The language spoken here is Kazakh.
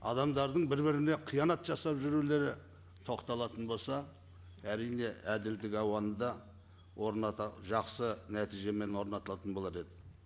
адамдардың бір біріне қиянат жасап жүрулері тоқталатын болса әрине әділдік ауаны да орната жақсы нәтижемен орнататын болар еді